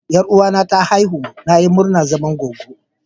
Yaruwa na ta aihu, na yi murma na zama gwaggo.